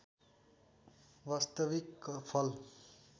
वास्तविक फल